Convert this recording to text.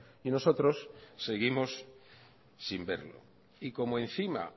y nosotros seguimos sin verlo y como encima